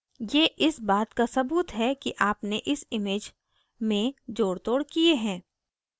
ये इस बात का सबूत है कि आपने इस image में जोड़तोड़ किये हैं